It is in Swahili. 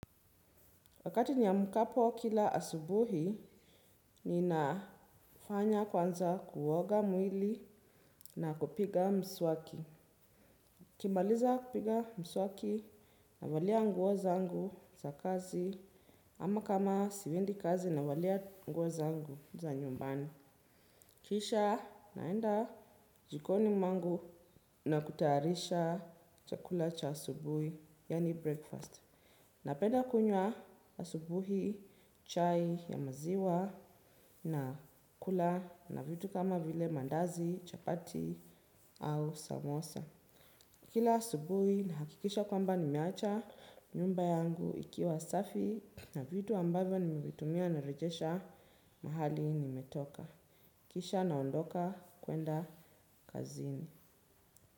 Wakati niamkapo kila asubuhi ninafanya kwanza kuoga mwili na kupiga mswaki. Nikimaliza kupiga mswaki navalia nguo zangu za kazi ama kama siendi kazi navalia nguo zangu za nyumbani. Kisha naenda jikoni mwangu na kutayarisha chakula cha asubuhi yaani breakfast. Napenda kunywa asubuhi chai ya maziwa na kula na vitu kama vile mandazi chapati au samosa. Kila asubuhi nahakikisha kwamba nimeacha nyumba yangu ikiwa safi na vitu ambavyo nimevitumia narejesha mahali nimetoka. Kisha naondoka kwenda kazini.